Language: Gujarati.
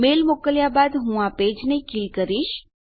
મેલ મોકલ્યાં બાદ હું આ પેજને કીલ કરીશ